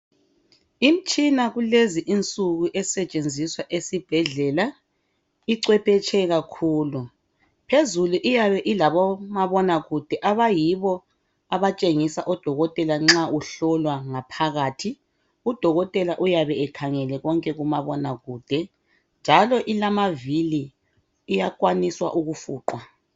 Imitshina kulezi insuku esetshenziswa esibhedlela ichwepheshe kakhulu. Phezulu iyabe ilabomabonakude abayibo abatshengisa odokotela nxa uhlolwa ngaphakathi. Udokotela uyabe ekhangele konke kumabonakude njalo ilmavili, iyakwanisa ukufuqwa.